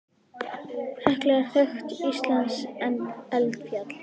Hekla er þekkt íslenskt eldfjall.